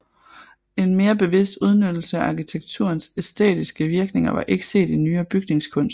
En mere bevidst udnyttelse af arkitekturens æstetiske virkninger var ikke set i nyere bygningskunst